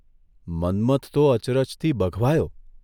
મન્મથ તો અચરજથી બઘવાયો.